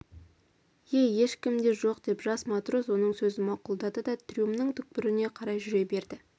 ие ешкім де жоқ деп жас матрос оның сөзін мақұлдады да трюмнің түкпіріне қарай жүре берді